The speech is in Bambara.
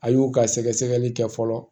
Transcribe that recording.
A y'u ka sɛgɛsɛgɛli kɛ fɔlɔ